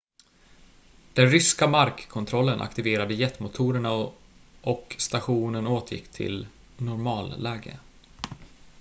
den ryska markkontrollen aktiverade jetmotorerna och och stationen återgick till normalläge